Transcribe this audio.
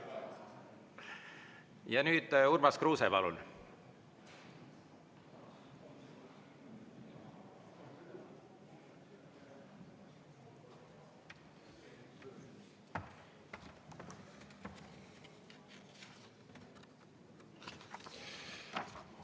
Ja nüüd Urmas Kruuse, palun!